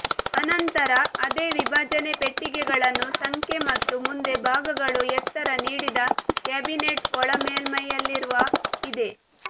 ಅನಂತರ ಅದೇ ವಿಭಜನೆ ಪೆಟ್ಟಿಗೆಗಳನ್ನು ಸಂಖ್ಯೆ ಮತ್ತು ಮುಂದೆ ಭಾಗಗಳು ಎತ್ತರ ನೀಡಿದ ಕ್ಯಾಬಿನೆಟ್ ಒಳ ಮೇಲ್ಮೆಯಲ್ಲಿರುವ ಇದೆ